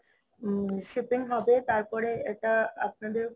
হম shipping হবে তারপর এটা আপনাদের